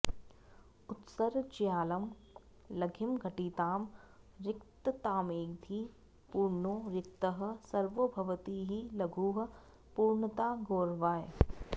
उत्सृज्यालं लघिमघटितां रिक्ततामेधि पूर्णो रिक्तः सर्वो भवति हि लघुः पूर्णता गौरवाय